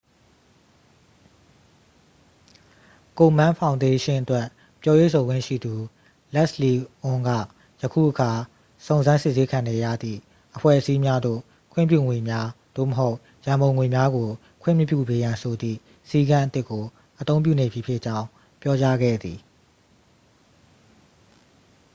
ကိုမန်းဖောင်ဒေးရှင်းအတွက် ပြောရေးဆိုခွင့်ရှိသူ လက်စ်လီအွန်းက ယခုအခါ စုံစမ်းစစ်ဆေးခံနေရသည့် အဖွဲ့အစည်းများသို့ ခွင့်ပြုငွေများ သို့မဟုတ် ရန်ပုံငွေများကို ခွင့်မပြုပေးရန်ဆိုသည့် စည်းကမ်းအသစ်ကို အသုံးပြုနေပြီဖြစ်ကြောင်း ပြောကြားခဲ့သည်